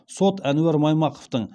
сот әнуар маймақовтың